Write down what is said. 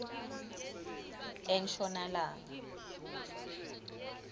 enshonalanga